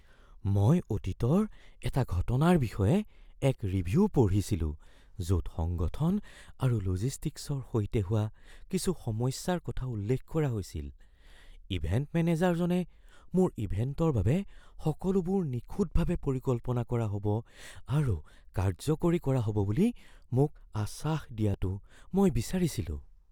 মই অতীতৰ এটা ঘটনাৰ বিষয়ে এক ৰিভিউ পঢ়িছিলো য'ত সংগঠন আৰু লজিষ্টিকছৰ সৈতে হোৱা কিছু সমস্যাৰ কথা উল্লেখ কৰা হৈছিল। ইভেণ্ট মেনেজাৰজনে মোৰ ইভেণ্টৰ বাবে সকলোবোৰ নিখুঁতভাৱে পৰিকল্পনা কৰা হ'ব আৰু কাৰ্যকৰী কৰা হ'ব বুলি মোক আশ্বাস দিয়াটো মই বিচাৰিছিলোঁ।